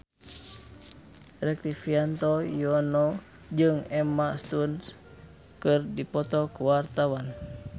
Rektivianto Yoewono jeung Emma Stone keur dipoto ku wartawan